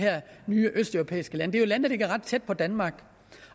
nye østeuropæiske lande det er der ligger ret tæt på danmark